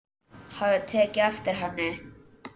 Hafði tekið eftir henni.